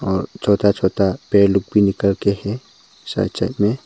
और छोटा छोटा पेड़ लोग भी निकल के हैं साइड साइड में।